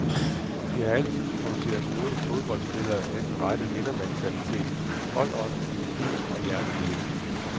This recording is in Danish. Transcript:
De har altid produceret gode fodboldspillere med den rette vindermentalitet, holdånd, disciplin og jernvilje.